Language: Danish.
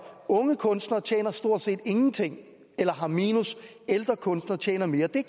unge kunstnere tjener stort set ingenting eller har minus ældre kunstnere tjener mere det